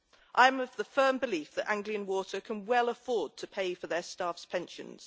I am of the firm belief that Anglian Water can well afford to pay for their staff's pensions.